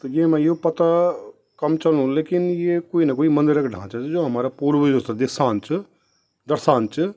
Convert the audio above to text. त येमा यु पत्ता कम चलणु लेकिन ये कुई न कुई मंदिर कु ढांचा च जो हमारा पूर्वजों थे दिशांन च दर्शान च।